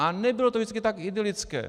A nebylo to vždycky tak idylické.